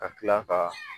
Ka tila ka